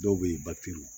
Dɔw be yen